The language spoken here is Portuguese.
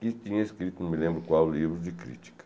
que tinha escrito, não me lembro qual livro, de crítica.